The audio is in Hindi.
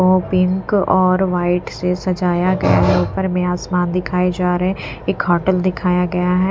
ओ पिंक और व्हाइट से सजाया गया है ऊपर में आसमान दिखाए जा रहे हैं एक होटल दिखाया गया है।